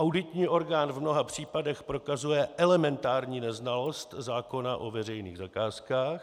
Auditní orgán v mnoha případech prokazuje elementární neznalost zákona o veřejných zakázkách.